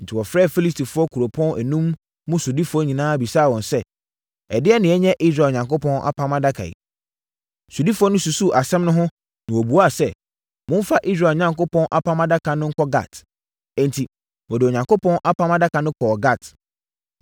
Enti, wɔfrɛɛ Filistifoɔ nkuropɔn enum mu sodifoɔ nyinaa bisaa wɔn sɛ, “Ɛdeɛn na yɛnyɛ Israel Onyankopɔn Apam Adaka yi?” Sodifoɔ no susuu asɛm no ho na wɔbuaa sɛ, “Momfa Israel Onyankopɔn Apam Adaka no nkɔ Gat.” Enti, wɔde Onyankopɔn Apam Adaka no kɔɔ Gat.